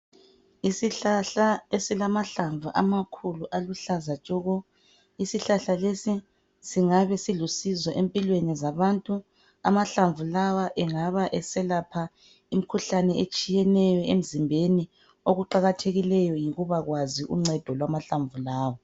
Isihlahla esilamahlamvu amakhulu aluhlaza tshoko. Isihlahla lesi singabe silusizo empilweni zabantu. Amahlamvu lawa engabe eselapha imkhuhlane etshiyeneyo emzimbeni okuqakathekileyo yikuba kwazi uncedo lwamahlamvu lawa.